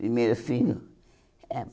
Primeiro filho? É